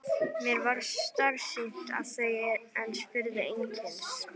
Mér varð starsýnt á þau en spurði einskis.